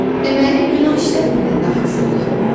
Deməli günah işlətmədən də haqsızlıq etmək olar.